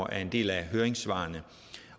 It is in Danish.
af en del af høringssvarene